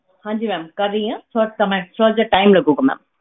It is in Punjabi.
ਹਾਂਜੀ ma'am ਕਰ ਰਹੀ ਹਾਂ ਥੋੜ੍ਹਾ ਸਮਾਂ ਥੋੜ੍ਹਾ ਜਿਹਾ time ਲੱਗੇਗਾ ma'am